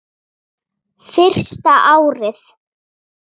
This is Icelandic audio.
Fyrsta árið.